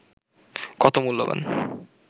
কত মূল্যবান